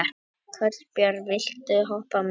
Kolbjörn, viltu hoppa með mér?